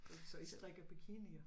Så I strikker bikinier